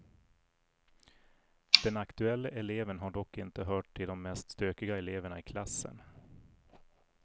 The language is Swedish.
Den aktuelle eleven har dock inte hört till de mest stökiga eleverna i klassen.